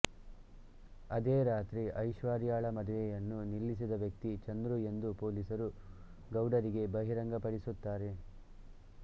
ಅದೇ ರಾತ್ರಿ ಐಶ್ವರ್ಯಾಳ ಮದುವೆಯನ್ನು ನಿಲ್ಲಿಸಿದ ವ್ಯಕ್ತಿ ಚಂದ್ರು ಎಂದು ಪೊಲೀಸರು ಗೌಡರಿಗೆ ಬಹಿರಂಗಪಡಿಸುತ್ತಾರೆ